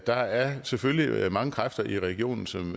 der er selvfølgelig mange kræfter i regionen som